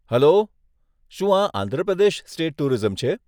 Hello, શું આ Andhra Pradesh state tourism છે?